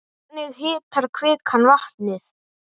Hvernig hitar kvikan vatnið?